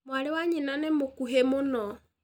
Mwarĩ wa nyina nĩ mũkuhĩ mũno.